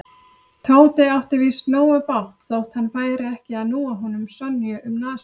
Tóti átti víst nógu bágt þótt hann færi ekki að núa honum Sonju um nasir.